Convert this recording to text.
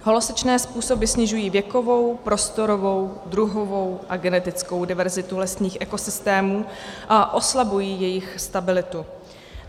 Holosečné způsoby snižují věkovou, prostorovou, druhovou a genetickou diverzitu lesních ekosystémů a oslabují jejich stabilitu.